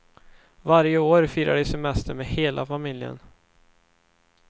Varje år firar de semester med hela familjen.